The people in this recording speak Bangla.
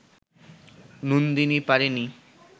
নন্দিনী পারেনি